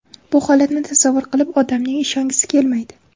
Bu holatni tasavvur qilib, odamning ishongisi kelmaydi.